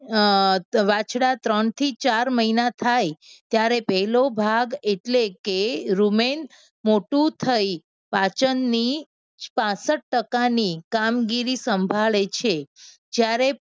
અમ વાછડા ત્રણથી ચાર મહિના થાય, ત્યારે પણ પહેલો ભાગ એટલે એ રૂમેન મોટુ થઈ પાચનની પાંસઠ ટકા ની કામગીરી સંભાળે છે. જ્યારે